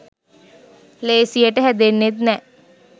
ලේසියට හැදෙන්නෙත් නෑ